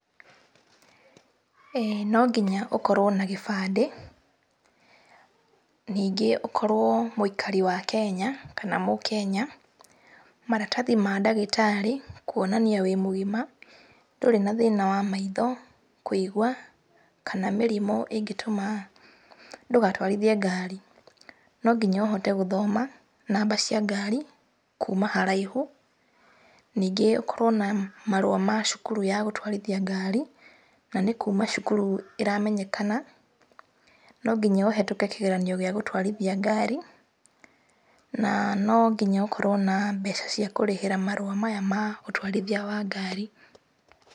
Ĩĩ, no nginya ũkorwo na gĩbandĩ, ningĩ ũkorwo mũikari wa Kenya, kana mũkenya. Maratathi ma ndagĩtarĩ, kuonania wĩ mũgima, ndũrĩ na thĩna wa maitho, kũigua, kana mĩrimũ ĩngĩtũma ndũgatwarithie ngari. No nginya ũhote gũthoma, namba cia ngari, kuuma haraihu. Ningĩ ũkorwo na marũa ma cukuru ya gũtwairthia ngari, na nĩ kuuma cukuru ĩramenyekana. No nginya ũhetũke kĩgeranio gĩa gũtwarithia ngari, na no nginya ũkorwo na mbeca cia kũrĩhĩra marũa maya ma ũtwarithia wa ngari.